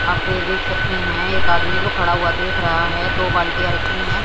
आप ये देख सकते हैं एक आदमी जो खड़ा हुआ देख रहा है दो बाल्टीया रखी हैं।